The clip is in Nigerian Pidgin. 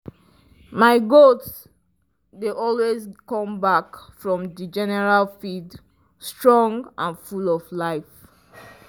my goat dey always come back from the general field strong and full of life.